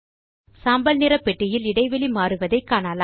சாம்பல் நிற பெட்டியில் இடைவெளி மாறுவதை காணலாம்